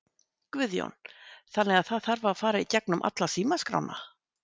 Guðjón: Þannig að það þarf að fara í gegnum alla símaskrána?